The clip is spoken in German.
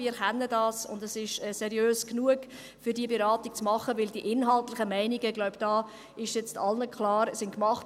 Wir können das, und es ist seriös genug, um diese Beratung machen zu können, denn die inhaltlichen Meinungen – ich glaube, das ist allen klar – sind gemacht.